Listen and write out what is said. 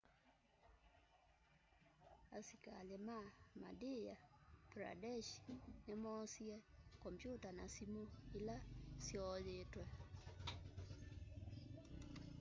asĩkalĩ ma madhya pradesh nĩmoosĩe kompyuta na sĩmũ ĩla syooyĩtwe